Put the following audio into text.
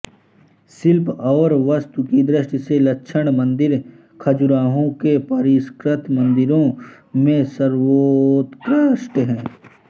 शिल्प और वास्तु की दृष्टि से लक्ष्मण मंदिर खजुराहो के परिष्कृत मंदिरों में सर्वोत्कृष्ट है